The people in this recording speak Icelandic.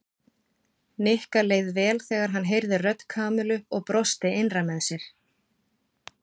Nikka leið vel þegar hann heyrði rödd Kamillu og brosti innra með sér.